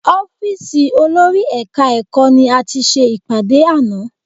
Ọ́fíìsì olórí Ẹ̀ka-ẹ̀kọ́ ni a ti ṣe ìpàdé àná